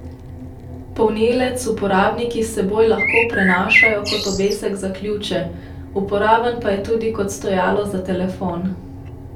Polnilec uporabniki s seboj lahko prenašajo kot obesek za ključe, uporaben pa je tudi kot stojalo za telefon.